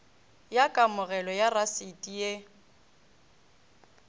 ya kamogelo ya rasiti ye